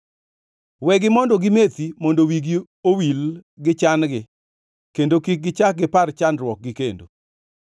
Wegi mondo gimethi mondo wigi owil gi chan-gi kendo kik gichak gipar chandruokgi kendo.